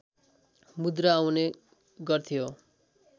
मुद्रा आउने गर्थ्यो